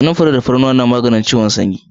Kanunfari fari da tafarnuwa na maganin kiwon sanyi